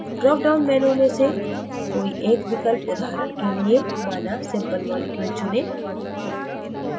drop down menu में से कोई एक विकल्प उदाहरण के लिए माना simple moleculeचुनें